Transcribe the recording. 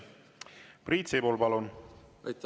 Priit Sibul, palun!